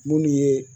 Munnu ye